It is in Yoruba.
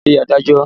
Lọ rí adájọ́!